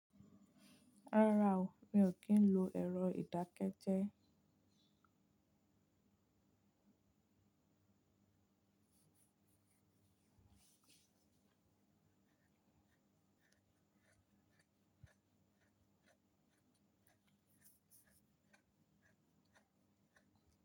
Rárá o, mi ò kí ń lo ẹ̀rọ ìdákẹ́jẹ́.